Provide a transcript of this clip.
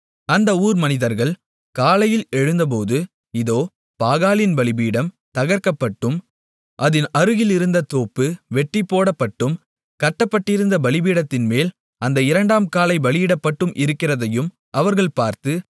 அந்த ஊர் மனிதர்கள் காலையில் எழுந்தபோது இதோ பாகாலின் பலிபீடம் தகர்க்கப்பட்டும் அதின் அருகிலியிருந்த தோப்பு வெட்டிப்போடப்பட்டும் கட்டப்பட்டிருந்த பலிபீடத்தின் மேல் அந்த இரண்டாம் காளை பலியிடப்பட்டு இருக்கிறதையும் அவர்கள் பார்த்து